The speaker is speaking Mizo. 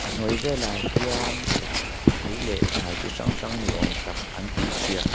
a hnuai velah hian thei leh thlai chi hrang hrang ni awm tak an tih tiah--